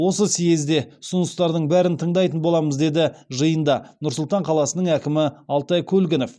осы съезде ұсыныстардың бәрін тыңдайтын боламыз деді жиында нұр сұлтан қаласының әкімі алтай көлгінов